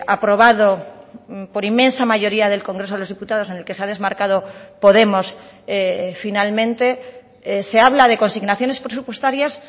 aprobado por inmensa mayoría del congreso de los diputados en el que se ha desmarcado podemos finalmente se habla de consignaciones presupuestarias